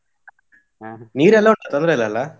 ಹ, ನೀರೆಲ್ಲ ಉಂಟಾ ತೊಂದ್ರೆಯಿಲ್ಲಲ್ಲ?